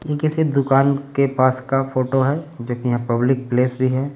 ये किसी दुकान के पास का फोटो है जो कि यहाँ पब्लिक प्लेस भी है।